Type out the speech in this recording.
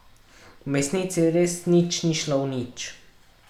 V mesnici res nič ni šlo v nič.